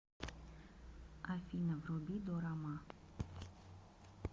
афина вруби дорама